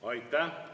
Aitäh!